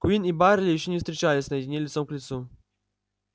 куинн и байерли ещё не встречались наедине лицом к лицу